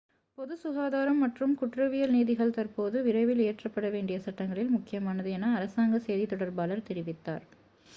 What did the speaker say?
"""பொது சுகாதாரம் மற்றும் குற்றவியல் நீதிகள் தற்போது விரைவில் இயற்றப்பட வேண்டிய சட்டங்களில் முக்கியமானது" என அரசாங்க செய்தி தொடர்பாளர் தெரிவித்தார்.